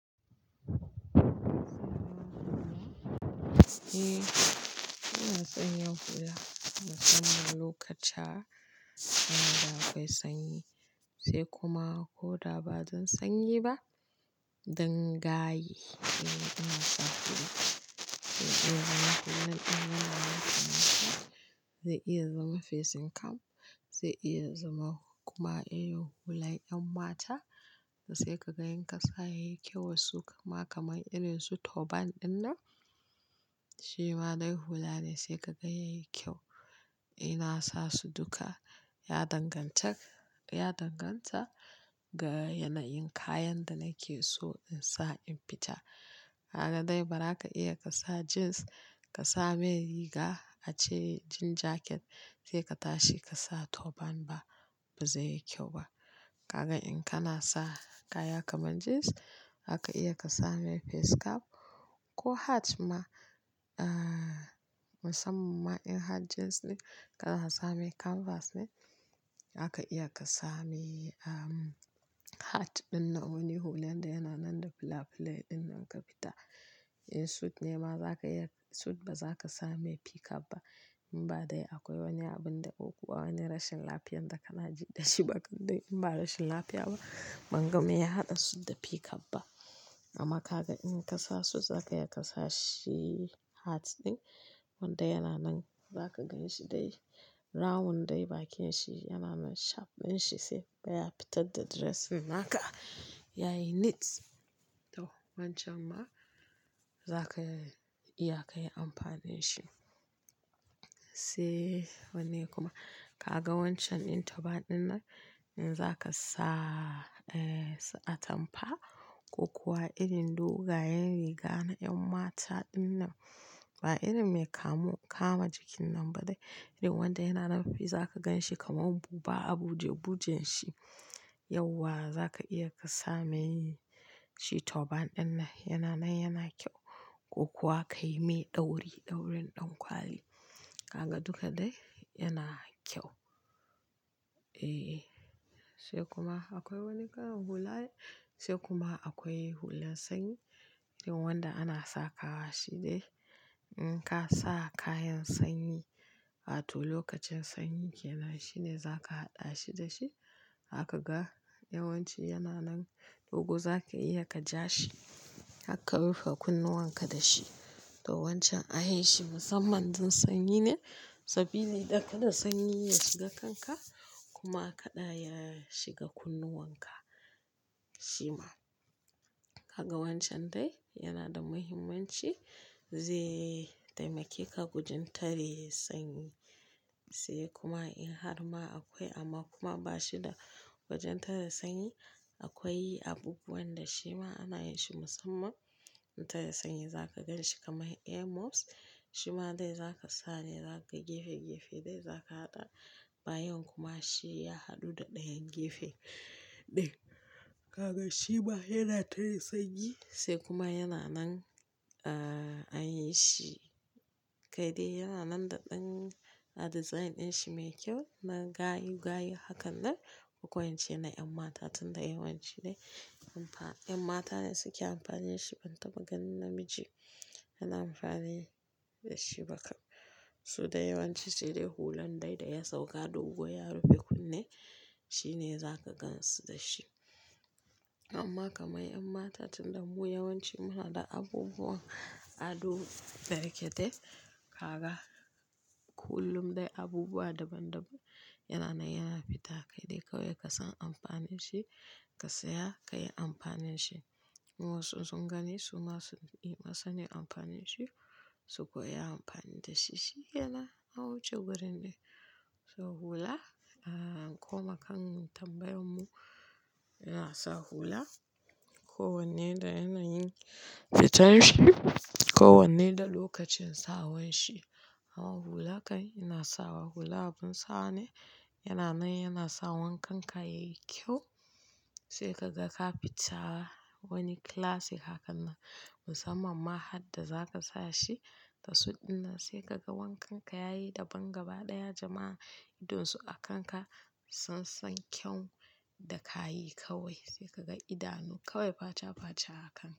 Eh, suna sanya hula musamman lokuta inda akwai sanyi sai kuma ko da ba zan sanyi ba, don gayi yana tsafuwa. Zai iya zama hular inda yana matse matse, zai iya zama facing cap, zai iya zama kuma iya hular ƴan mata da sai ka ga in ka sa ya yi kyau wa su kuma kamar irin su turban ɗinnan. Shi ma dai hula ne sai kaga yayi kyau. Ina sa su duka ya danganta, ya danganta ga yanayin kayan da nake so in sa in fita. Kaga dai ba za ka iya ka sa jeans ka sa mai riga ace jean jacket sai ka tashi ka sa turban ba, ba zai yi kyau ba. Kaga in kana sa kaya kamar jeans, haka iya ka same face cap ko hat ma. Aaa musamman in hat jeans ne, kana sa mai canvas ne zaka iya ka sami ahm hat ɗinnan wani hular da yana nan da flaplay ɗinnan ka fita. In suit ne ma za ka iya-- suit ba za ka same peak cap ba. In ba dai akwai wani abin daƙo kuwa wani rashin lafiyan da kana ji da shi ba. Dan in ba rashin lafiya ba ban ga me ya haɗa suit da peak cap ba. Amma ka ga in ka sa suit za ka iya ka sa shi hat ɗin wanda yana nan. Za ka ganshi dai. Rawun dai bakin shi yana nan shape ɗin shi sai baya fitar da dress naka. Yayi neat. To wancan ma za ka iya ka yi amfani da shi. Sai wanne kuma? Kaga wancan in turban ɗinnan in za ka sa eh su atampa ko kuwa irin dogayen riga na ƴan mata ɗinnan ba irin mai kamu-- kama jikin nan ba dai. Irin wanda yana nan fiye za ka ganshi kamar buba a buje, bujen shi. Yauwa za ka iya ka same shi turban ɗinnan. Yana nan yana kyau ko kuwa ka yi mai ɗauri, ɗaurin ɗan kwali. Haka duka dai yana kyau. Eh, sai kuma akwai wani kalan hula ne sai kuma akwai hular sanyi. Irin wanda ana sa kawa shi dai. In ka sa kayan sanyi wato lokacin sanyi yana shine za ka haɗa shi da shi. Haka ga yawanci yana nan dogo za ka iya ka ja shi. Har ka rufe kunnuwan ka da shi. To wancan an yi shi musamman don sanyi ne saboda ya ƙada sanyi ya shiga kanka kuma a ƙaɗa ya shiga kunnuwan ka. Shi ma. Kaga wancan dai yana da muhimmanci zai taimake ka gujin tare sanyi sai kuma in har ma akwai amma kuma ba shi da wajen tare sanyi akwai abubuwan da shi ma ana yin shi musamman. In tare sanyi za ka ganshi kamar earmuffs. Shi ma dai za ka sa ne za ka gefe gefe dai za ka haɗa bayan kuma shi ya haɗu da ɗayan gefe ɗin. Kaga shi ma yana tare sanyi sai kuma yana nan a an yi shi kai dai yana nan da ɗan design ɗin shi mai kyau na gayu gayu hakan nan. Akwai wancan na ƴan mata tunda yawanci dai amfa-- ƴan mata ne suke amfani da shi ban taɓa gan namiji yana amfani da shi ba kar. Su dai yawanci sai dai hulan dai da ya sauka dogo ya rufe kunne. Shi ne za ka gansu da shi. Amma kamar ƴan mata tunda mu yawanci muna da abubuwan ado da yake dai. Haka kullum dai abubuwa daban daban yana nan yana fita kai dai kawai ka san amfani da shi ka saya ka yi amfani da shi. Wa su sun gani su ma sun yi ma sani amfani da shi su kuwa yi amfani da shi. Shi kenan an wuce wurin dai. To hula a kuma kan tambayar mu yana sa hula ko wanne dai yana yin fitar shi ko wanne da lokacin sa wanshi. Amma hula kai yana sawa hula abin sawa ne yana nan yana sawa wankan ka yayi kyau sai ka ga ka fitta wani classic hakan nan. Musamman hadda za ka sa shi da suit ɗinnan sai ka ga wankan ka yayi daban gaba ɗaya jama'a idonsu a kanka sun san kyau da ka yi kawai. Sai ka ga idanu kawai faca faca a kanka.